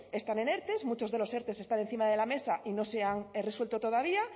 están en erte muchos de los erte están encima de la mesa y no se han resuelto todavía